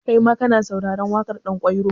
Kaima ka na sauraren waƙar Ɗanƙwairo?